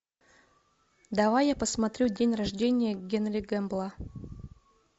давай я посмотрю день рождения генри гэмбла